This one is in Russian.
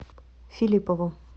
филиппову